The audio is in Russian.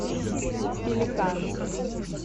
пеликан